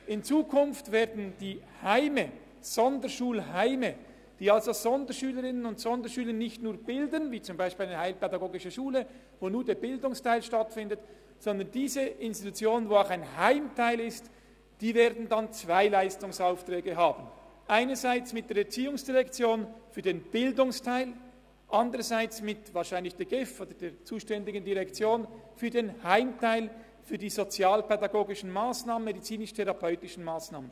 In Zukunft werden die eigentlichen Heime, die Sonderschulheime, welche Sonderschülerinnen und Sonderschüler nicht nur bilden – wie dies bei der heilpädagogischen Schule der Fall ist, die nur den Bildungsteil abdeckt –, zwei Leistungsaufträge haben: einen mit der ERZ für den Bildungsteil, einen anderen mit der GEF beziehungsweise der zuständigen Direktion für den Heimteil, für die sozialpädagogischen und medizinisch-therapeutischen Massnahmen.